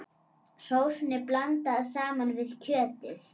Sósunni blandað saman við kjötið.